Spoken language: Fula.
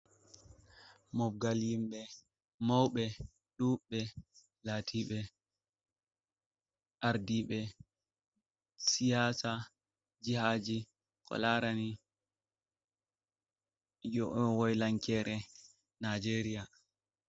Mobgal himɓe mauɓe ɗuɓɓe latiɓe ardiɓe siyasa jihaji ko larani wolankere nijeria.